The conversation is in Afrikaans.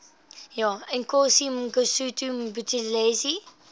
inkosi mangosuthu buthelezi